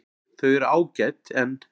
Þau eru ágæt en.